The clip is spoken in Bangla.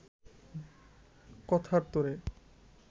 কথার তোড়ে